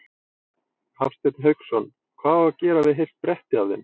Hafsteinn Hauksson: Hvað á að gera við heilt bretti af þeim?